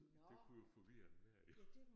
Det kunne jo forvirre enhver jo